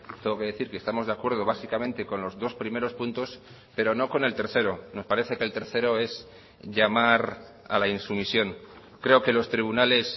tengo que decir que estamos de acuerdo básicamente con los dos primeros puntos pero no con el tercero nos parece que el tercero es llamar a la insumisión creo que los tribunales